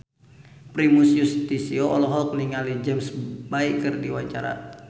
Primus Yustisio olohok ningali James Bay keur diwawancara